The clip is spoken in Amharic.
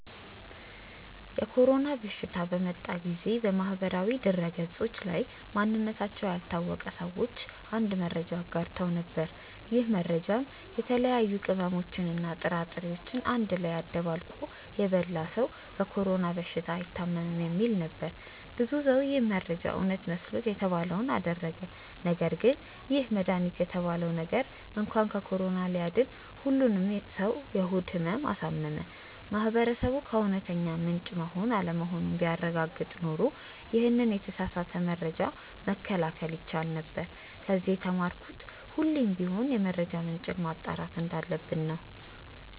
የኮሮና በሽታ በመጣ ጊዜ በማህበራዊ ድህረገጾች ላይ ማንነታቸው ያልታወቀ ሰዎች አንድ መረጃን አጋርተው ነበር። ይህ መረጃም የተለያዩ ቅመሞችን እና ጥራጥሬዎችን አንድ ላይ አደባልቆ የበላ ሰው በኮሮና በሽታ አይታምም የሚል ነበር። ብዙ ሰው ይህ መረጃ እውነት መስሎት የተባለውን አደረገ ነገርግን ይህ መድሃኒት የተባለው ነገር እንኳን ከኮሮና ሊያድን ሁሉንም ሰው የሆድ ህመም አሳመመ። ማህበረሰቡ ከእውነተኛ ምንጭ መሆን አለመሆኑን ቢያረጋግጥ ኖሮ ይሄንን የተሳሳተ መረጃ መከላከል ይቻል ነበር። ከዚ የተማርኩት ሁሌም ቢሆን የመረጃ ምንጭን ማጣራት እንዳለብን ነው።